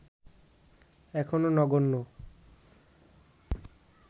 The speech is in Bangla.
এখনো নগণ্য